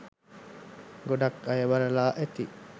ගොඩක් අය බලලා ඇති